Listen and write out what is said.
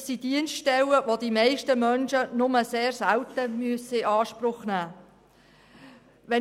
Das sind Dienststellen, die die meisten Menschen nur sehr selten in Anspruch nehmen müssen.